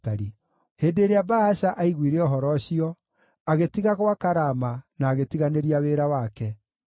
Hĩndĩ ĩrĩa Baasha aiguire ũhoro ũcio, agĩtiga gwaka Rama na agĩtiganĩria wĩra wake.